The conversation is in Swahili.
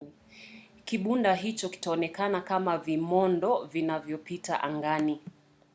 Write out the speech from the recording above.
kibumba hicho kitaonekana kama vimondo vinavyopita angani